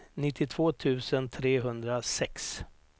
nittiotvå tusen trehundrasex